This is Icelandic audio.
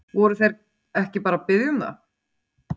Voru þeir ekki bara að biðja um það?